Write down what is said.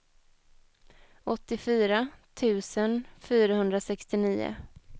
åttiofyra tusen fyrahundrasextionio